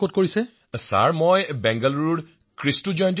শ্ৰী হৰি জি বিঃ মহাশয় ময় কৃষ্টুজয়ন্তী মহাবিদ্যালয়ত অধ্যয়ন কৰি আছো